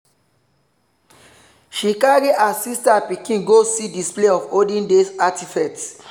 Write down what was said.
she carry her sister pikin go see display of olden days artifacts.